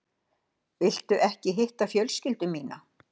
Viltu ekki hitta fjölskyldu mína?